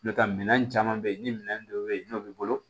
N'o tɛ minɛn caman bɛ yen ni minɛn dɔ bɛ yen n'o b'i bolo